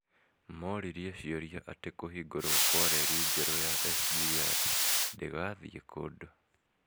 moririe ciũria ati Kũhingũrwo kwa reri njerũ ya SGR "ndĩgathii kũndũ "